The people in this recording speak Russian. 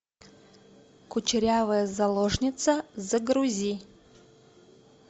кучерявая заложница загрузи